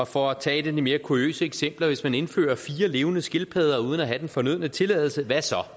for at tage et af de mere kuriøse eksempler hvis man indfører fire levende skildpadder uden at have den fornødne tilladelse